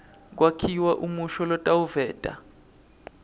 kwakhiwa umusho lotawuveta